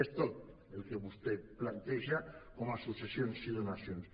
és tot el que vostè planteja com a successions i donacions